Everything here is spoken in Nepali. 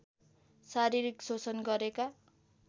शारीरिक शोषण गरेका